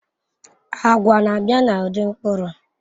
Agwa na-abịa n'ụdị mkpụrụ